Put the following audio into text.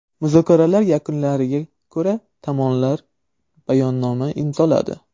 Muzokaralar yakunlariga ko‘ra tomonlar bayonnoma imzoladi.